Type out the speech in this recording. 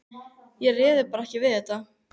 Ég réði bara ekki við þetta.